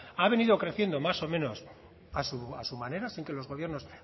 ha venido creciendo más o menos a su manera sin que los gobiernos